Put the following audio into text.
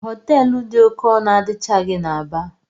Họteelụ dị oké ọnụ adịchaghị n'Aba.